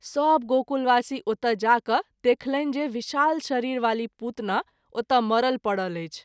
सभ गोकुलवासी ओतय जा क’ देखलनि जे विशाल शरीर वाली पुतना ओतय मरल परल अछि।